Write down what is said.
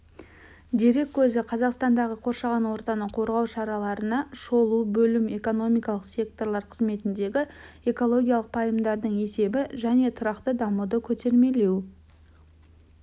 дерек көзі қазақстандағы қоршаған ортаны қорғау шараларына шолу бөлім экономикалық секторлар қызметіндегі экологиялық пайымдардың есебі және тұрақты дамуды көтермелеу